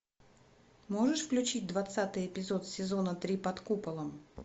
можешь включить двадцатый эпизод сезона три под куполом